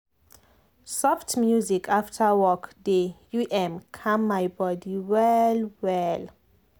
soft music after work dey u m calm my body well well.